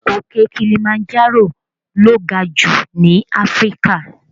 Òkè Kilimanjaro lo ga jù ní Áfríkà